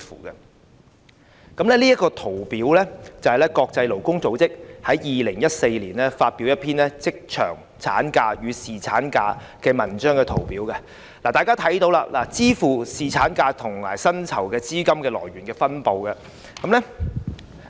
我手邊這份圖表，是國際勞工組織於2014年發表的一篇有關職場產假與侍產假研究中的圖表，大家可看到支付侍產假薪酬的資金來源分布。